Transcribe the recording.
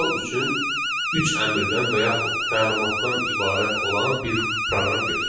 Misal üçün üç əmrdən və yaxud təlimatdan ibarət olan bir proqram götürək.